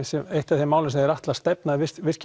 sem eitt af þeim málum sem þeir ætla að stefna